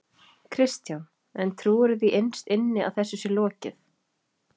Kristján: En trúirðu því innst inni að þessu sé lokið?